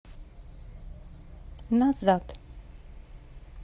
назад